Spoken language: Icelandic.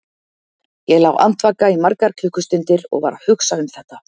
Ég lá andvaka í margar klukkustundir og var að hugsa um þetta.